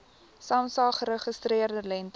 samsa geregistreerde lengte